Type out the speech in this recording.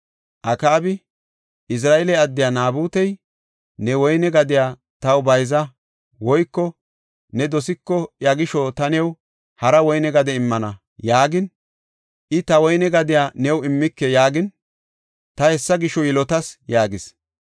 Akaabi, “Izira7eele addey Naabutey, ‘Ne woyne gadiya taw bayza woyko ne dosiko iya gisho ta new hara woyne gade immana’ yaagin, I, ‘Ta woyne gadiya new immike’ yaagin, ta hessa gisho yilotis” yaagis.